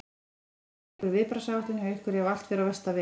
Er, er einhver viðbragðsáætlun hjá ykkur ef að allt fer á versta veg?